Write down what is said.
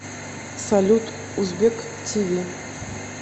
салют узбек ти ви